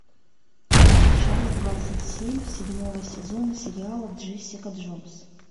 часть двадцать семь седьмого сезона сериала джессика джонс